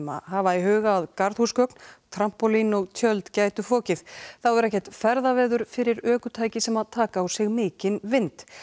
að hafa í huga að garðhúsgögn trampólín og tjöld gætu fokið þá er ekkert ferðaveður fyrir ökutæki sem taka á sig mikinn vind